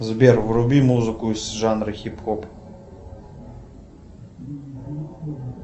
сбер вруби музыку из жанра хип хоп